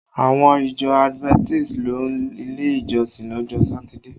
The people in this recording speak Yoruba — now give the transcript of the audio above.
Àwọn ìjọ Adventist ń lọ ilé ìjọsìn lọ́jọ́ Satide